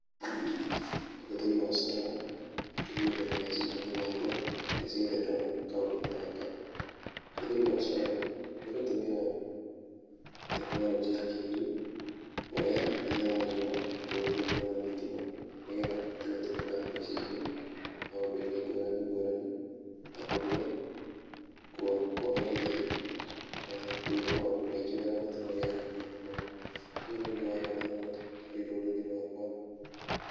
Ũhũthĩri wa solar nĩguo ũkaga meciria-inĩ makwa hĩndĩ ciothe ndona kaũndũ ta gaka. Ũhũthĩri wa Solar nĩ gũtũmĩra tekinoronjĩ ya kĩrĩu kuoya hinya wa riũa na kũutua hinya wa thitima nĩgetha ũhote gũtũmĩka mĩciĩ-inĩ maũndũ-inĩ ngũrani ngũrani ta kũruga, kuona ũtheri na gwĩka maũndũ maingĩ marĩa matũmagĩra thitima. Ũyũ nĩ ũndũ wa bata mũno harĩ rũrĩrĩ rwakwa.